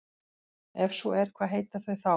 Ef svo er hvað heita þau þá?